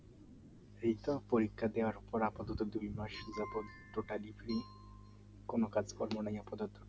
এইতো পরীক্ষা দেওয়ার এখন দুই তিন মাস এখন পুরোটাই totally free কোন কাজকর্ম নেই আপাতত